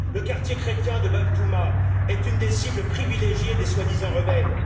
Le quartier chrétien de Bab Touma est une des cibles privilégiées des soi disant rebelles.